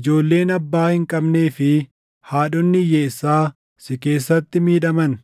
ijoolleen abbaa hin qabnee fi haadhonni hiyyeessaa si keessatti miidhaman.